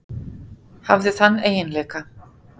Hafði þann eiginleika.